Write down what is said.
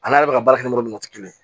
Ale yɛrɛ bɛ ka baara kɛ n'o ye kelen